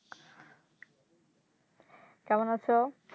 কেমন আছো